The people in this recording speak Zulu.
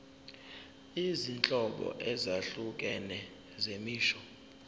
izinhlobo ezahlukene zemisho